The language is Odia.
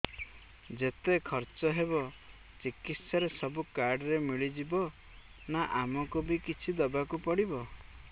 ଯେତେ ଖର୍ଚ ହେବ ଚିକିତ୍ସା ରେ ସବୁ କାର୍ଡ ରେ ମିଳିଯିବ ନା ଆମକୁ ବି କିଛି ଦବାକୁ ପଡିବ